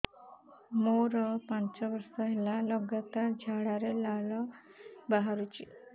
ମୋରୋ ପାଞ୍ଚ ବର୍ଷ ହେଲା ଲଗାତାର ଝାଡ଼ାରେ ଲାଳ ବାହାରୁଚି